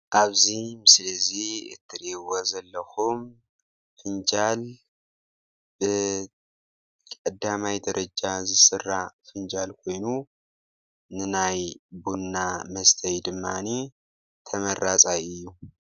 እዚ ምስሊ ቡን ንምስታይ ንጥቀመሉ ፍንጃል ይበሃል።